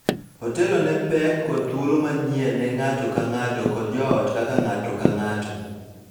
Otelo ne pek kod thuolo manyien ne ng�ato ka ng�ato kod joot kaka ng�ato ka ng�ato.